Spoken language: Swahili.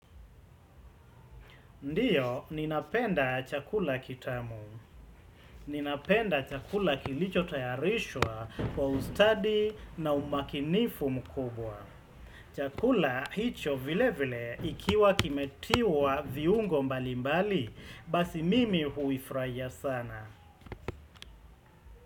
Ndiyo, ninapenda chakula kitamu. Ninapenda chakula kilichotayarishwa kwa ustadi na umakinifu mkubwa. Chakula hicho vilevile ikiwa kimetiwa viungo mbalimbali, basi mimi huifurahia sana.